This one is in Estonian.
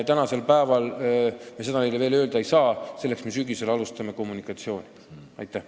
Tänasel päeval me seda neile veel öelda ei saa, aga sügisel alustame kommunikatsiooniga.